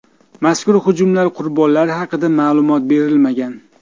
Mazkur hujumlar qurbonlari haqida ma’lumot berilmagan.